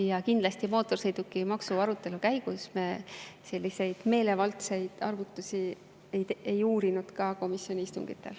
Ja kindlasti mootorsõidukimaksu arutelu käigus me selliseid meelevaldseid arvutusi ei uurinud komisjoni istungitel.